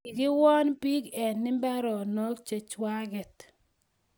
Kikiwon pik en imbaroko che chwaget